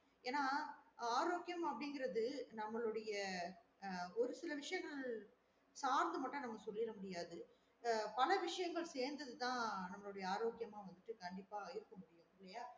ஏன்ன்னா ஆரோக்கியம் அப்டின்றது நம்மலோடைய ஆஹ் ஒரு சில விசையங்கள் சாந்து மட்டும் நம்ம சொல்லிட முடியாது ஆஹ் பல விசையங்கள் சேந்தது தான் நம்மளோட ஆரோக்கியம்மா வந்துட்டு கண்டிப்பா இருக்கும் முடியும் இல்லேயா